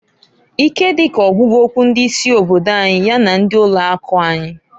Ike dị ka ogwugokwu ndị isi obodo anyị ya na ndị ụlọ akụ anyị.